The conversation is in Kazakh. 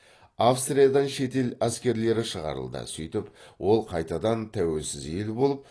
австриядан шетел әскерлері шығарылды сөйтіп ол қайтадан тәуелсіз ел болып